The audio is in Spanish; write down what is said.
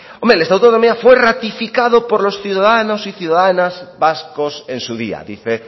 hombre el estatuto de autonomía fue ratificado por los ciudadanos y ciudadanas vascos en su día dice